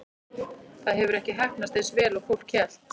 Það hefur ekki heppnast eins vel og fólk hélt.